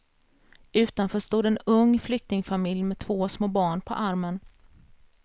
Utanför stod en ung flyktingfamilj med två små barn på armen.